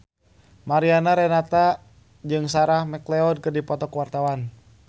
Mariana Renata jeung Sarah McLeod keur dipoto ku wartawan